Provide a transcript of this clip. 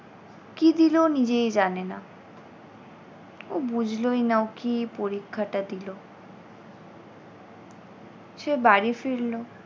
কী দিল নিজেই জানে না। ও বুঝলোই না ও কী পরীক্ষাটা দিল। সে বাড়ি ফিরল।